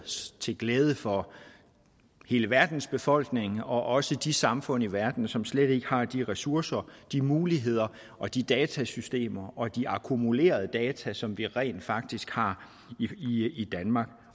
til glæde for hele verdens befolkning og også de samfund i verden som slet ikke har de ressourcer de muligheder og de datasystemer og de akkumulerede data som vi rent faktisk har i danmark